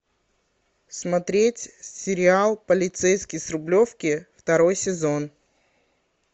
смотреть сериал полицейский с рублевки второй сезон